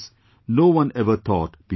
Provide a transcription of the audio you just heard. No one ever thought beyond this